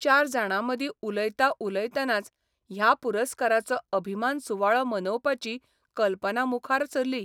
चार जाणां मदीं उलयतां उलयतनाच ह्या पुरस्काराचो अभिमान सुवाळो मनोवपाची कल्पना मुखार सरली.